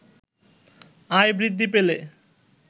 আয় বৃদ্ধি পেলে